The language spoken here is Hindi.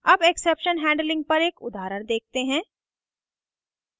अब exception handling पर एक उदाहरण देखते हैं